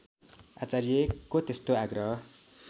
आचार्यको त्यस्तो आग्रह